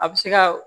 A bɛ se ka